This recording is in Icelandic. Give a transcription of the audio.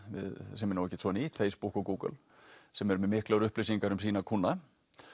sem er nú ekkert svo nýtt Facebook og Google sem eru með miklar upplýsingar um sína kúnna